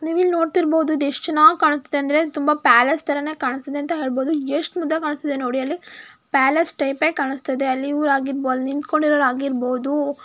ನೀವ್ ಇಲ್ ನೋಡ್ತಿರಬಹುದು ಇದ್ ಎಷ್ಟ್ ಚೆನ್ನಾಗ್ ಕಾಣಸ್ತಿದೆ ಅಂದ್ರೆ ತುಂಬಾ ಪ್ಯಾಲೇಸ್ ತರಾನೇ ಕಾಣಸ್ತಿದೆ ಅಂತ ಹೇಳ್ಬಹುದು ಎಷ್ಟ್ ಮುದ್ದಾಗಿ ಕಾಣಸ್ತಿದೆ ನೋಡಿ ಅಲ್ಲಿ ಪ್ಯಾಲೇಸ್ ಟೈಪೇ ಕಾಣಸ್ತಿದೆ ಅಲ್ಲಿ ಊರಾಗಿರಬಹುದು ಅಲ್ ನಿಂತ್ಕೊಂಡಿರೋರ್ ಆಗಿರ್ಬಹುದು.